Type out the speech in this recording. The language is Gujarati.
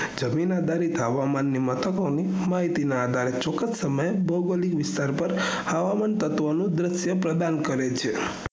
જમીનાદારી હવામાન ને મથકો નું હુમાયટી ના આઘારે ચોક્કસ સમયે ભોઅગોલીક વિસ્તાર માં હવામાન તત્વ નું દશ્ય પ્રદાન કરે છે